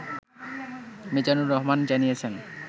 মিজানুর রহমান জানিয়েছেন